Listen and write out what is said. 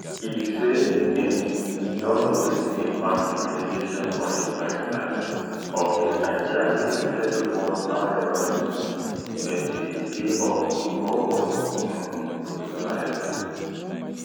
e say im don notice a marked degradation for im lifetime of di idea say everyone however useful dem dey dey of equal worth um to society